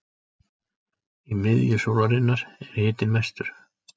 Í miðju sólarinnar er hitinn mestur.